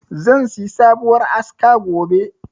Zan siyi sabuwar aska gobe.